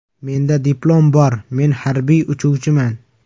Menda diplom bor, men harbiy uchuvchiman.